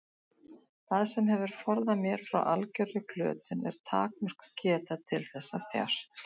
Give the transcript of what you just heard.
Það sem hefur forðað mér frá algjörri glötun er takmörkuð geta til þess að þjást.